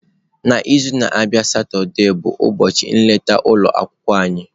N'izu na-abịa Satọde bụ ụbọchị nleta ụlọ akwụkwọ anyị.